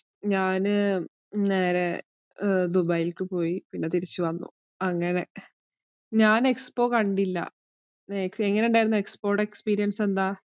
ഞാന് നേരെ ദുബായിലേക്ക് പോയി. പിന്നെ തിരിച്ചു വന്നു അങ്ങനെ. ഞാന്‍ expo കണ്ടില്ല എങ്ങനെയുണ്ടായിരുന്നു expo യുടെ experience എന്താ?